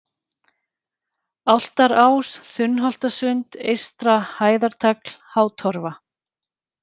Álftarás, Þunnholtasund, Eystra-Hæðartagl, Hátorfa